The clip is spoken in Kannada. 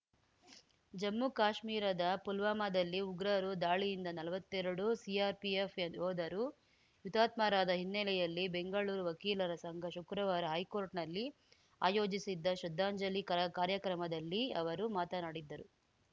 ಜಮ್ಮುಕಾಶ್ಮೀರದ ಪುಲ್ವಾಮಾದಲ್ಲಿ ಉಗ್ರರು ದಾಳಿಯಿಂದ ನಲ್ವತ್ತೆರಡು ಸಿಆರ್‌ಪಿಎಫ್‌ ಯೋಧರು ಹುತಾತ್ಮರಾದ ಹಿನ್ನೆಲೆಯಲ್ಲಿ ಬೆಂಗಳೂರು ವಕೀಲರ ಸಂಘ ಶುಕ್ರವಾರ ಹೈಕೋರ್ಟ್‌ನಲ್ಲಿ ಆಯೋಜಿಸಿದ್ದ ಶ್ರದ್ಧಾಂಜಲಿ ಕಾರ್ ಕಾರ್ಯಕ್ರಮದಲ್ಲಿ ಅವರು ಮಾತನಾಡಿದರು